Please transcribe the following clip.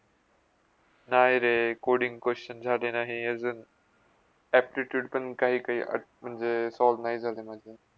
नाय रे! coding questions झाले नाही अजुन aptitude पण काही काय म्हणजे solve नाही झाले अजुन माझे.